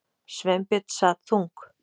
Sveinbjörn sat þung